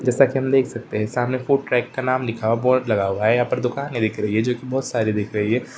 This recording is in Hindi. जैसा कि हम देख सकते हैं सामने से फ़ूड ट्रैक का नाम लिखा है बोर्ड हुआ है। यहाँ पे दुकानें दिख रही है जो कि बहोत सारी दिख रही हैं।